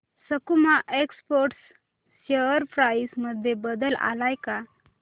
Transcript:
सकुमा exports share price मध्ये बदल आलाय का